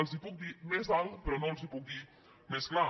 els ho puc dir més alt però no els ho puc dir més clar